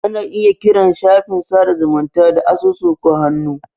Ana iya kiran shafin sada zumunta da asusu ko hannu.